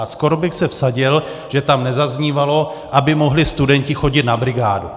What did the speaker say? A skoro bych se vsadil, že tam nezaznívalo, aby mohli studenti chodit na brigádu.